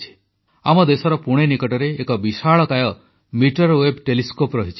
ଆମ ଦେଶର ପୁଣେ ନିକଟରେ ଏକ ବିଶାଳକାୟ ମିଟର ୱେଭ ଟେଲିସ୍କୋପ ରହିଛି